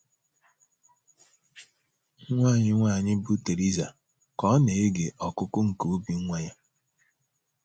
Nwa anyị nwanyị bụ́ Theresa, ka ọ na - ege ọkụkụ nke obi nwa ya